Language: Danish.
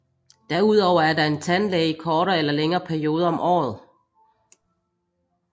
Derudover er der en tandlæge i kortere eller længere perioder om året